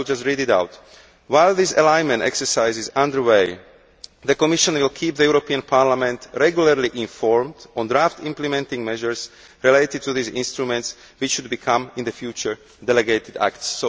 I will just read it out While this alignment exercise is under way, the Commission will keep the European Parliament regularly informed on draft implementing measures related to these instruments which should become, in the future, delegated acts.'